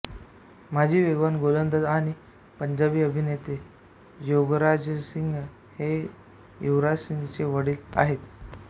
माजी वेगवान गोलंदाज आणि पंजाबी अभिनेते योगराजसिंग हे युवराज सिंगचे वडील आहेत